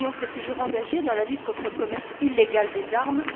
L'Union s'est toujours engagée dans la lutte contre le commerce illégal des armes.